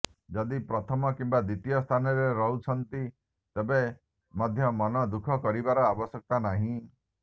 ଯଦି ପ୍ରଥମ କିମ୍ବା ଦ୍ୱିତୀୟ ସ୍ଥାନରେ ନରୁହନ୍ତି ତେବେ ମଧ୍ୟ ମନ ଦୁଃଖ କରିବାର ଆବଶ୍ୟକତା ନାହିଁ